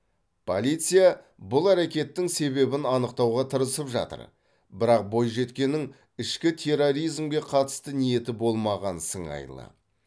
полиция бұл әрекеттің себебін анықтауға тырысып жатыр бірақ бойжеткеннің ішкі терроризмге қатысты ниеті болмаған сыңайлы